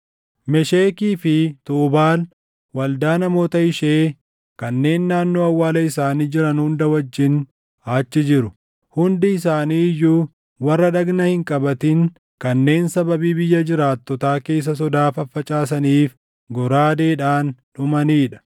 “Meshekii fi Tuubaal waldaa namoota ishee kanneen naannoo awwaala isaanii jiran hunda wajjin achi jiru. Hundi isaanii iyyuu warra dhagna hin qabatin kanneen sababii biyya jiraattotaa keessa sodaa faffacaasaniif goraadeedhaan dhumanii dha.